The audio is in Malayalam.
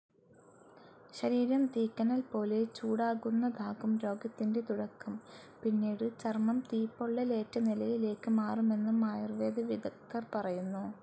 ശരീരം തീക്കനൽപോലെ ചൂടാകുന്നതാകും രോഗത്തിന്റെ തുടക്കം, പിന്നീട് ചർമ്മം തീപ്പൊള്ളലേറ്റനിലയിലേക്ക് മാറുമെന്നും ആയുർവേദ വിദഗ്ദ്ധർ പറയുന്നു.